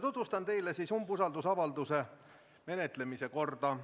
Tutvustan teile umbusaldusavalduse menetlemise korda.